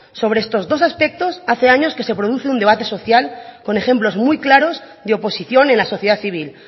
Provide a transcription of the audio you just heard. sobre estos dos aspectos hace años que se produce un debate social con ejemplos muy claros de oposición en la sociedad civil